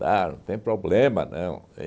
Tal não tem problema, não.